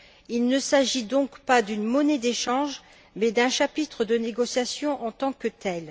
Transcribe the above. Il ne s'agit donc pas d'une monnaie d'échange mais d'un chapitre de négociations en tant que tel.